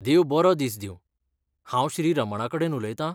देव बरो दिस दिवं, हांव श्री. रमणाकडेन उलयतां?